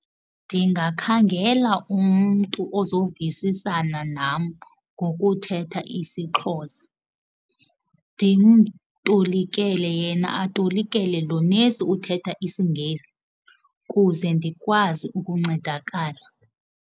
Ndingakhangela umntu ozovisisana nam ngokuthetha isiXhosa, ndimtolikele, yena atolikele lo nesi uthetha isiNgesi kuze ndikwazi ukuncedakala.